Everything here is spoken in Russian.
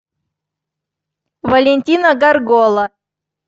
валентина горгола